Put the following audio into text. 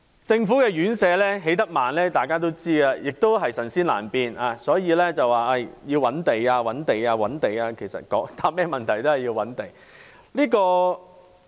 政府院舍興建緩慢，人所共知，也是"神仙難變"，所以要覓地、覓地、覓地，其實要回答任何問題都必須覓地。